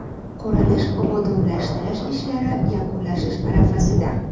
Qurilish-obodonlashtirish ishlari yakunlanish arafasida.